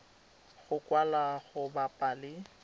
go kwalwa go bapa le